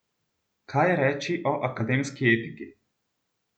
Kaj reči o akademski etiki?